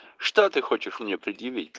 что ты хочешь мне предъявить